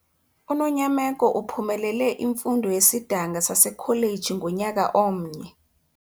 UNonyameko uphumelele imfundo yesidanga sasekholeji ngonyaka omnye.